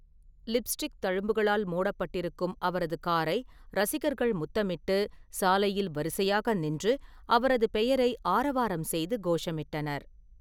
Lipstick தழும்புகளால் மூடப்பட்டிருக்கும் அவரது காரை ரசிகர்கள் முத்தமிட்டு, சாலையில் வரிசையாக நின்று, அவரது பெயரை ஆரவாரம் செய்து கோஷமிட்டனர்.